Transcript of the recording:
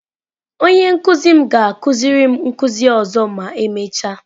Onye nkuzi m ga-akuziri m nkuzi ọzọ ma emechaa